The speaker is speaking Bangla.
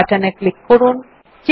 ওক বাটনে ক্লিক করুন